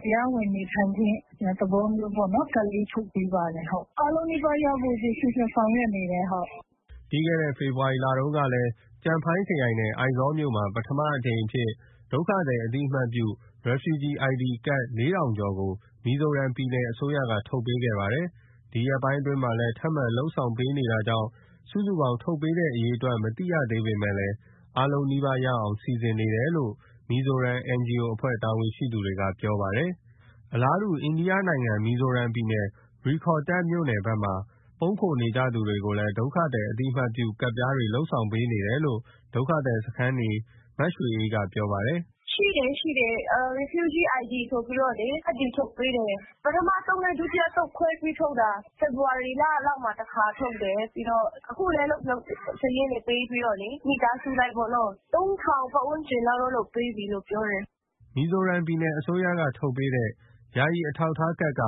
တရားဝင်နေထိုင်ခွင့် သဘောမျိုးပေါ့နော်။ ကဒ်လေးထုတ်ပေးထား တယ်။ အားလုံးနီးပါးရဖို့ စီစဉ်ဆောင်ရွက်နေတယ်။” ပြီးခဲ့တဲ့ ဖေဖော်ဝါရီလတုန်းကလည်း ကျန်ဖိုင်းခရိုင်နဲ့ အိုက်ဇောလ်မြို့မှာ ပထမအကြိမ်အဖြစ် ဒုက္ခသည်အသိမှတ်ပြု Refugee ID ကဒ် (၄,၀၀၀) ကျော်ကို မီဇိုရမ်ပြည်နယ်အစိုးရက ထုတ်ပေး ခဲ့ပါတယ်။ ဒီရက်ပိုင်းမှာလည်း ထပ်မံလုပ်ဆောင်ပေးနေတာကြောင့် စုစုပေါင်း ထုတ်ပေးတဲ့ အရေ အတွက် မသိရသေးပေမယ့် အားလုံးနီးပါးရအောင် စီစဉ်နေတယ်လို့ မီဇိုရမ် NGO အဖွဲ့ တာဝန်ရှိသူ တွေက ပြောပါတယ်။ အလားတူ အိန္ဒိယနိုင်ငံ မီဇိုရမ်ပြည်နယ် ရိခေါ်တာရ်မြို့နယ်ဘက်မှာ ပုန်းခိုနေကြသူတွေကိုလည်း ဒုက္ခသည်အသိမှတ်ပြုကဒ်တွေ လုပ်ပေးနေတယ်လို့ ဒုက္ခသည်စခန်းနေ မရွှေအေးကပြောပါတယ်။ “ရှိတယ်။ ရှိတယ်။ Refugee ID ဆိုပြီး ကဒ်တွေ ထုတ်ပေးတယ်။ ပထမအသုတ်နဲ့ ဒုတိယအသုတ် ခွဲပြီးထုတ်တာ။ ဖေဖော်ဝါရီလလောက်မှာ တခါထုတ်တယ်။ အခုလည်း လုပ်တယ်။ စာရင်းတွေ ပေးပြီးတော့ မိသားစုအလိုက်ပေါ့နော်။ (၃,၀၀၀) ပတ်ဝန်းကျင်လောက်တော့ လုပ်ပေးပြီးလို့ ပြောတယ်။” မီဇိုရမ်ပြည်နယ်အစိုးရ ထုတ်ပေးတဲ့ ယာယီအထောက်အထားကဒ်က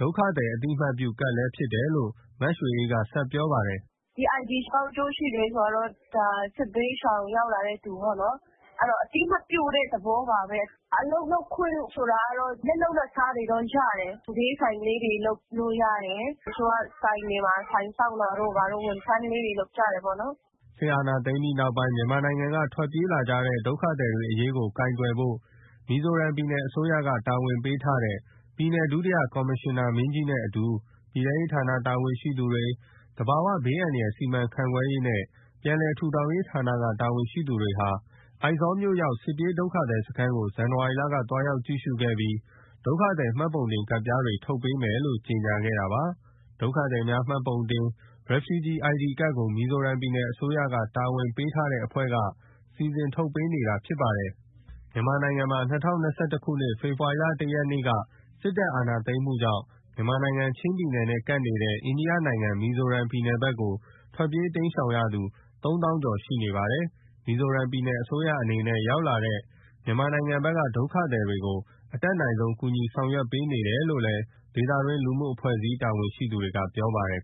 ဒုက္ခသည် အသိအမှတ်ပြုကဒ် လည်း ဖြစ်တယ်လို့ မရွှေအေးကဆက်ပြောပါတယ်။ “ဒီ ID ဘယ်လောက်အကျိုးရှိတာဆိုတာတော့ ဒါ စစ်ဘေးရှောင်ရောက်လာသူပေါ့နော်။ အသိမှတ်ပြု တဲ့ သဘောပါပဲ။ အလုပ်လုပ်ခွင့်ဆိုတာကတော့ လက်လုပ်လက်စားတွေတော့ရတယ်။ ဈေးဆိုင် လေး တွေ လုပ်လို့ရတယ်။ တချို့ကဆိုင်တွေမှာ ဆိုင်စောင့်တာတို့ ဘာတို့၊ ဝန်ထမ်းလေးတွေ လုပ်ကြတာ ပေါ့နော်။” စစ်အာဏာသိမ်းပြီးနောက် မြန်မာနိုင်ငံကနေ ထွက်ပြေးလာကြတဲ့ ဒုက္ခသည်တွေအရေးကို ကိုင်တွယ် ဖို့ မီဇိုရမ်ပြည်နယ်အစိုးရက တာဝန်ပေးထားတဲ့ ပြည်နယ်ဒုတိယ ကော်မရှင်နာမင်းကြီးနဲ့အတူ ပြည်ထဲရေးဌာနတာဝန်ရှိသူတွေ၊ သဘာဝဘေး အန္တရာယ် စီမံခန့်ခွဲရေးနဲ့ ပြန်လည်ထူထောင်ရေး ဌာနက တာဝန်ရှိသူတွေဟာ အိုက်ဇောမြို့ရောက် စစ်ပြေး ဒုက္ခသည်စခန်းကို ဇန်နဝါရီလက သွားရောက်ကြည့်ရှုခဲ့ပြီး ဒုက္ခသည် မှတ်ပုံတင်ကဒ်ပြားတွေ ထုတ်ပေးမယ် လို့ ကြေညာခဲ့တာပါ။ ဒုက္ခသည်များမှတ်ပုံတင် Refugee ID ကဒ်ကို မီဇိုရမ်ပြည်နယ်အစိုးရက တာဝန် ပေးထားတဲ့အဖွဲ့ တွေကနေ စီစဉ်ထုတ်ပေးနေတာဖြစ်ပါတယ်။ မြန်မာနိုင်ငံမှာ ၂၀၂၁ ခုနှစ် ဖေဖော်ဝါရီ (၁) ရက်နေ့က စစ်တပ်အာဏာသိမ်းမှုကြောင့် မြန်မာနိုင်ငံချင်းပြည်နယ်နဲ့ကပ်နေတဲ့ အိန္ဒိယနိုင်ငံ မီဇိုရမ်ပြည်နယ် ဘက်ကို ထွက်ပြေးတိမ်းရှောင်နေသူ ၃၀,၀၀၀ ကျော် ရှိနေပါတယ်။ မီဇိုရမ်ပြည်နယ်အစိုးရအနေနဲ့ ရောက်ရှိလာတဲ့ မြန်မာနိုင်ငံဘက်က ဒုက္ခသည်တွေကို အတတ်နိုင်ဆုံး ကူညီဆောင်ရွက်ပေး နေတယ်လို့ ဒေသတွင်း လူမှုအဖွဲ့အစည်း တာဝန်ရှိသူတွေကပြောပါတယ်